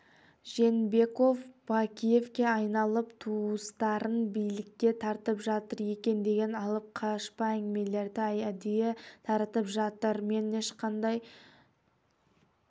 жээнбеков бакиевке айналып туыстарын билікке тартып жатыр екен деген алып-қашпа әңгімелерді әдейі таратып жатыр мен ешқандай